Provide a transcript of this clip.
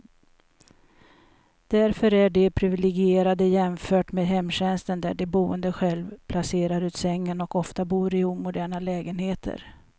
Därför är de priviligierade jämfört med hemtjänsten där de boende själv placerar ut sängen, och ofta bor i omoderna lägenheter.